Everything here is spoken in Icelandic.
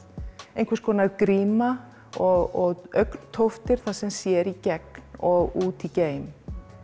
einhvers konar gríma og þar sem sér í gegn og út í geim